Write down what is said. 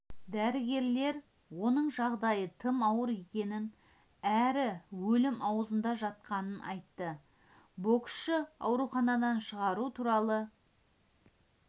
дәрігерлер оның жағдайы тым ауыр екенін әрі өлім аузында жатқанын айтты боксшыны ауруханадан шығару туралы